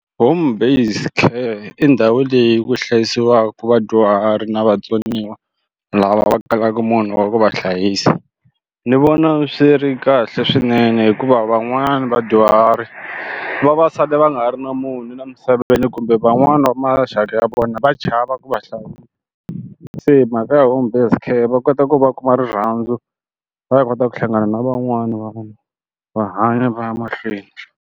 Home based care i ndhawu leyi ku hlayisiwaka vadyuhari na vatsoniwa lava va kalaka munhu wa ku va hlayisa ni vona swi ri kahle swinene hikuva van'wani vadyuhari va va va sale va nga ha ri na munhu la misaveni kumbe van'wani va maxaka ya vona va chava ku va se mhaka ya home based care va kota ku va a kuma rirhandzu va ya kota ku hlangana na van'wani va vona va hanya va ya mahlweni.